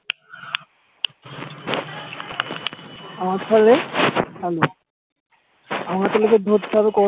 আমার আমাকে তাহলে ধরতে হবে